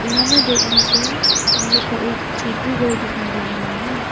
यहां में देखने से हम लोग को एक छोपरी घर दिखाई दे रहा है।